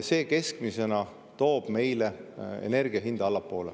See keskmisena toob meile, majandusele ja inimestele, energia hinna allapoole.